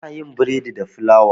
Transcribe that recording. Ana yin bredi da fulawa.